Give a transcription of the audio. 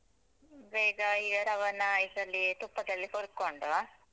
ಬೇಗ ಈ ರವನ್ನಾ ಇದ್ರಲ್ಲಿ ತುಪ್ಪದಲ್ಲಿ ಹುರ್ಕೊಂಡು.